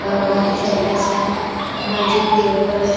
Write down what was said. ला हुआ है छोटा सा मस्जिद के ऊपर एक --